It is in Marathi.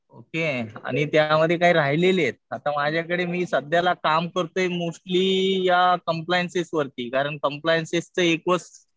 ओके. आणि त्यामध्ये काही राहिलेले आहेत. माझ्याकडे मी सध्याला काम करतोय मोस्टली या कम्प्लायन्सेस वरती. कारण कम्प्लायन्सेसचं एक वेळेस